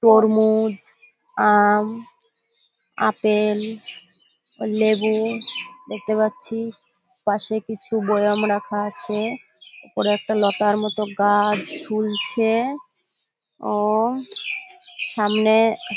তরমুজ আম আপেল লেবু দেখতে পাচ্ছি। পাশে কিছু বয়াম রাখা আছে। ওপরে একটা লতার মতো গাছ ঝুলছে ও সামনে --